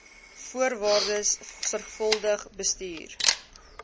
voorwaardes sorgvuldig bestudeer